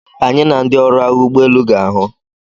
Anyị na ndị ọrụ agha ụgbọ elu ga-ahụ.